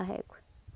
A régua.